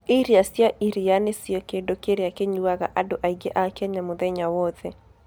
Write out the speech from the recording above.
Iria cia iria nĩcio kĩndũ kĩrĩa kĩnyuaga andũ aingĩ a Kenya mũthenya wothe.